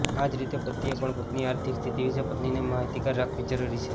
આ જ રીતે પતિએ પણ પોતાની આર્થિક સ્થિતિ વિશે પત્નીને માહિતગાર રાખવી જરૂરી છે